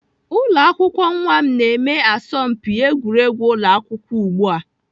Ụlọakwụkwọ nwa m na-eme asọmpi egwuregwu ụlọ akwụkwọ ugbu a.